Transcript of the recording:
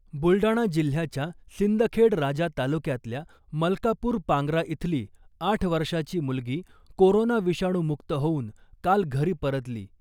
बुलडाणा जिल्ह्याच्या सिंदखेडराजा तालुक्यातल्या मलकापूर पांग्रा इथली आठ वर्षाची मुलगी कोरोना विषाणू मुक्त होऊन काल घरी परतली .